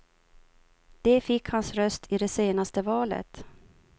De fick hans röst i det senaste valet.